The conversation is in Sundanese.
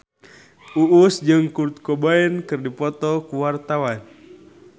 Uus jeung Kurt Cobain keur dipoto ku wartawan